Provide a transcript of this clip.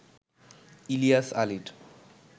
ইলিয়াস আলীর